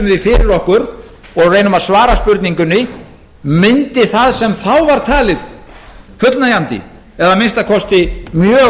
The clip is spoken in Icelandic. því fyrir okkur og reynum að svara spurningunni mundi það sem þá var talið fullnægjandi eða að minnsta kosti mjög myndug